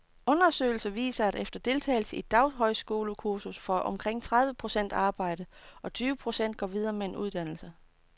Undersøgelser viser, at efter deltagelse i et daghøjskolekursus får omkring tredive procent arbejde, og tyve procent går videre med en uddannelse.